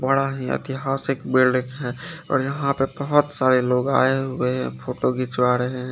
बड़ा ही एतिहासिक बिल्डिंग है और यहाँ पर बोहोत सारे लोग आये हुए है फोटो खीचवा रहे है।